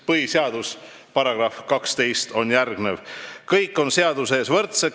Põhiseaduse § 12 on järgmine: "Kõik on seaduse ees võrdsed.